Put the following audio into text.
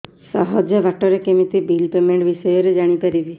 ସହଜ ବାଟ ରେ କେମିତି ବିଲ୍ ପେମେଣ୍ଟ ବିଷୟ ରେ ଜାଣି ପାରିବି